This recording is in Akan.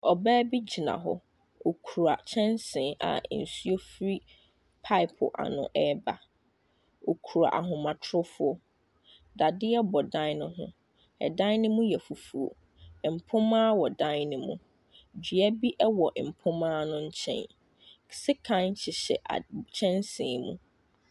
Ɔbaa bi gyina hɔ. Ɔkura kyɛnsee a nsuo firi pipe ano reba. Ɔkura ahomatorofoɔ. Dadeɛ bɔ dan no ho. Dan no mu yɛ fufuo. Mpona wɔ dan no mu. Dua bi wɔ mpoma no nkyɛn. Sekan heyhyɛ ad nkyɛnsee mu.